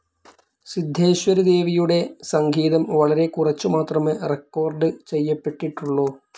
സിദ്ധേശ്വരി ദേവിയുടെ സംഗീതം വളരെക്കുറച്ചു മാത്രമേ റെക്കോർഡ്‌ ചെയ്യപ്പെട്ടിട്ടുള്ളൂ.